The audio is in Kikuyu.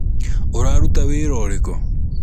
ũraruta wĩra ũrĩkũ?